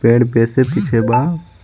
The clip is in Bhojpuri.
पेड़ जैसे पीछे बा.